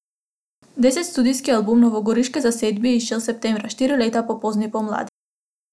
Deseti studijski album novogoriške zasedbe je izšel septembra, štiri leta po Pozni pomladi.